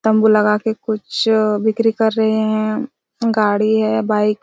तम्बू लगा के कुछ बिक्री कर रहे है गाड़ी है बाइक --